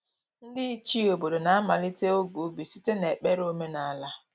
Ndị Ichie obodo na-amalite oge ubi site n’ekpere omenala.